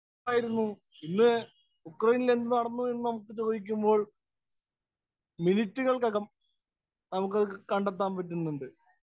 Speaker 1 എന്നായിരുന്നു. ഇന്ന് ഉക്രയിനില്‍ എന്ത് നടന്നു എന്ന് നമുക്ക് ചോദിക്കുമ്പോള്‍ മിനിറ്റിനകം നമുക്കത് കണ്ടെത്താന്‍ പറ്റുന്നുണ്ട്.